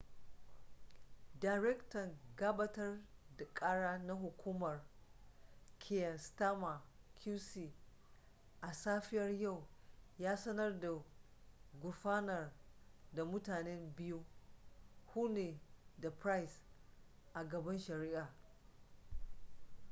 darektan gabatar da kara na hukumar kier starmer qc a safiyar yau ya sanar da gurfanar da mutanen biyu huhne da pryce a gaban shari'a